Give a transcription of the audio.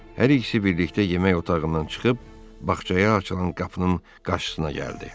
Hər ikisi birlikdə yemək otağından çıxıb bağçaya açılan qapının qarşısına gəldi.